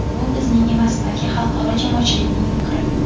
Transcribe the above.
Bu bizning emas, balki xalqaro jamoatchilikning fikri.